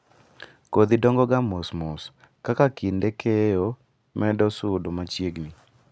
Kodhi dongoga mos mos kaka kinde keyo medo sudo machiegni.